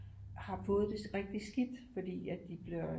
Har fået det rigtig skidt fordi at de bliver